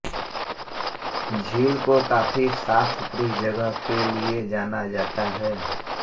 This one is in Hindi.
झील को काफी साफसुथरी जगह के लिए जाना जाता है